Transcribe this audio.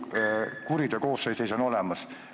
Kuriteokoosseis on nagu olemas.